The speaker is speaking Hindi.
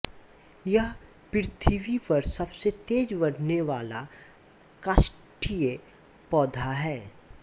यह पृथ्वी पर सबसे तेज बढ़ने वाला काष्ठीय पौधा है